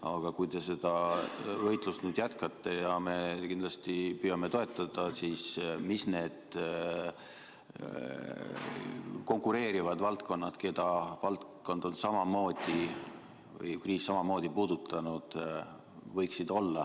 Aga kui te seda võitlust jätkate – ja me kindlasti püüame teid toetada –, siis millised võiksid olla need konkureerivad valdkonnad, keda kriis on samamoodi puudutanud?